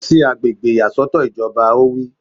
Lọ sí àgbègbè ìyàsọ́tọ̀ ìjọba! Ó wí